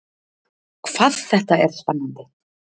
Hvað þetta er spennandi!